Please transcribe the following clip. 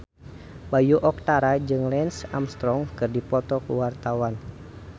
Bayu Octara jeung Lance Armstrong keur dipoto ku wartawan